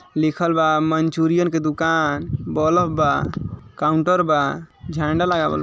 लिखल्बा Manchurian की दुकान bulb बा काउंटर बा झंडा लगा बा।